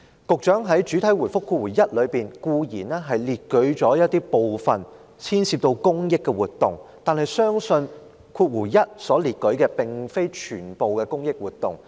局長在主體答覆第一部分固然列舉出部分牽涉公益的活動，但相信主體答覆第一部分所列舉的，並非全部都是公益活動。